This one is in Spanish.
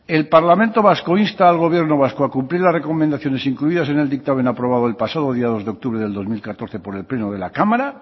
el parlamento vasco insta al gobierno vasco a cumplir las recomendaciones incluidas en el dictamen aprobado el pasado día dos de octubre del dos mil catorce por el pleno de la cámara